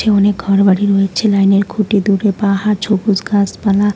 অনেক ঘরবাড়ি রয়েছে লাইন -এর খুঁটি দূরে পাহাড় ছবুজ গাছপালা।